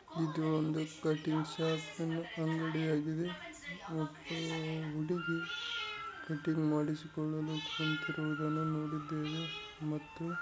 ಇದು ಒಂದು cutting shop ಅನ್ನು ಅಂಗಡಿಯಾಗಿದೆ ಮತ್ತೆ ಹುಡುಗಿ ಕಟ್ಟಿಂಗ್‌ ಮಾಡಿಸಿಕೊಳ್ಳಲು ಕುಂತಿರುವುದನ್ನು ನೋಡಿದ್ದೇವೆ ಮತ್ತು--